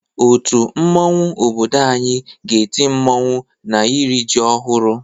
Otu mmanwu obodo anyị ga-eti mmanwụ n'iri ji ọhụrụ.